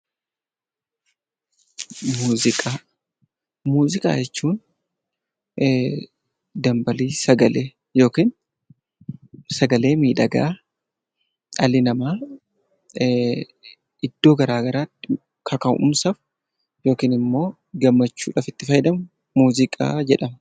Muuziqaa: Muuziqaa jechuun dambalii sagalee yookaan sagalee miidhagaa dhalli namaa iddoo gara garaatti kaka'umsa yookaan immoo gammachuudhaaf itti fayyadamu muuziqaa jedhama.